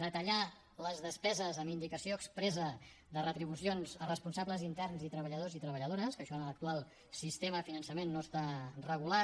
detallar les despeses amb indicació expressa de retribucions a responsables interns i treballadors i treballadores que això en l’actual sistema de finançament no està regulat